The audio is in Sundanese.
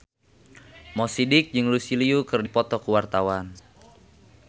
Mo Sidik jeung Lucy Liu keur dipoto ku wartawan